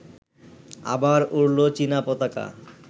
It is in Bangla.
আবার উড়লো চীনা পতাকা